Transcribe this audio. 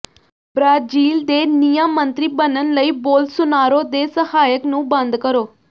Brazil ਦੇ ਨਿਆਂ ਮੰਤਰੀ ਬਣਨ ਲਈ ਬੋਲਸੋਨਾਰੋ ਦੇ ਸਹਾਇਕ ਨੂੰ ਬੰਦ ਕਰੋ